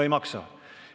Ei maksa!